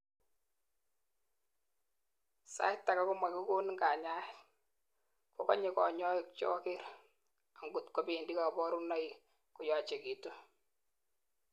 sait agei komakikonin kanyaet, kokonye kanyoik joker angotko bendi kaborunoik koyachekitun